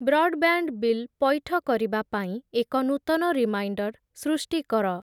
Broadband bill ପୈଠ କରିବା ପାଇଁ ଏକ ନୂତନ ରିମାଇଣ୍ଡର୍ ସୃଷ୍ଟି କର ।